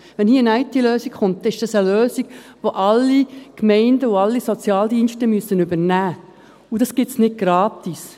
Wenn hier eine IT-Lösung kommt, ist das eine Lösung, die alle Gemeinden und alle Sozialdienste übernehmen müssen, und diese gibt es nicht gratis.